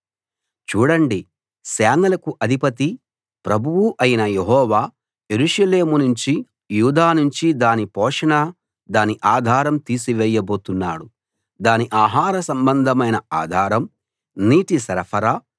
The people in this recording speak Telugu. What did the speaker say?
చూడండి సేనలకు అధిపతి ప్రభువూ అయిన యెహోవా యెరూషలేము నుంచి యూదా నుంచి దాని పోషణ దాని ఆధారం తీసివేయబోతున్నాడు దాని ఆహార సంబంధమైన ఆధారం నీటి సరఫరా